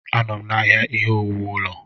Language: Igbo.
Anọ m n'ahịa ihe owuwu ụlọ ahụ.